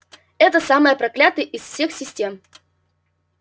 это самая проклятая из всех систем